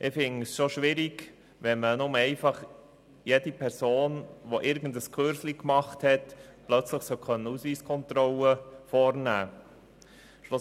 Ich finde es schon schwierig, wenn jede Person, die irgendeinen kleinen Kurs gemacht hat, plötzlich eine Ausweiskontrolle vornehmen darf.